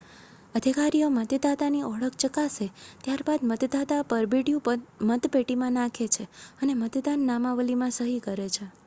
અધિકારીઓ મતદાતાની ઓળખ ચકાસે ત્યાર બાદ મતદાતા પરબીડિયું મતપેટીમાં નાખે છે અને મતદાન નામાવલીમાં સહી કરે છે